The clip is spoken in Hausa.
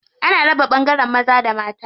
Ana raba ɓangaren maza da mata.